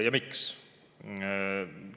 Ja miks?